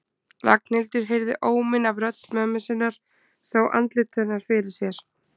Ragnhildur heyrði óminn af rödd mömmu sinnar, sá andlit hennar fyrir sér.